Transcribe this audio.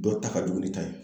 Dɔ ta ka jugu ni ta ye